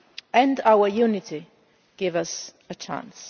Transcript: and our unity also gives us a chance.